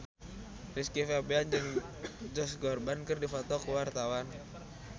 Rizky Febian jeung Josh Groban keur dipoto ku wartawan